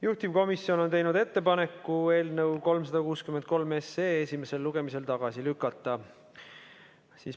Juhtivkomisjon on teinud ettepaneku eelnõu 363 esimesel lugemisel tagasi lükata.